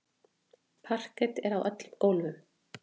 Parket er á öllum gólfum.